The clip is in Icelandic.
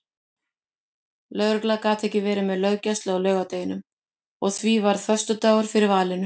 Lögregla gat ekki verið með löggæslu á laugardeginum og því varð föstudagur fyrir valinu.